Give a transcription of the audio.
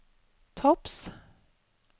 topps